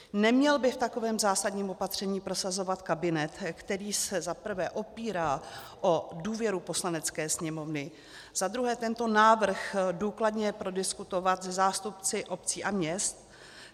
Neměl by v takovém zásadním opatření prosazovat kabinet, který se za prvé opírá o důvěru Poslanecké sněmovny, za druhé tento návrh důkladně prodiskutovat se zástupci obcí a měst?